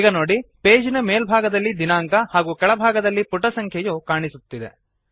ಈಗ ನೋಡಿ ಪೇಜ್ ನ ಮೇಲ್ಭಾಗದಲ್ಲಿ ದಿನಾಂಕ ಹಾಗೂ ಕೆಳಭಾಗದಲ್ಲಿ ಪುಟಸಂಖ್ಯೆಯು ಕಾಣುತ್ತಿದೆ